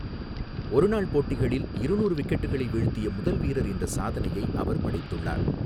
ஒருநாள் போட்டிகளில் இருநூறு விக்கெட்டுகளை வீழ்த்திய முதல் வீரர் என்ற சாதனையை அவர் படைத்துள்ளார்.